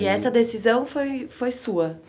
E essa decisão foi foi sua?